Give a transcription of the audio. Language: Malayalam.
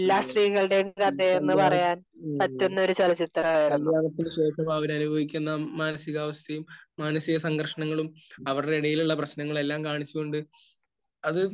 മ്മ്. ഈ കല്യാണം ഏഹ് കല്യാണത്തിന് ശേഷം അവരനുഭവിക്കുന്ന മാനസികാവസ്ഥയും മാനസികസംഘർഷണങ്ങളും അവരുടെ ഇടയിലുള്ള പ്രശ്നങ്ങളും എല്ലാം കാണിച്ചുകൊണ്ട് അത്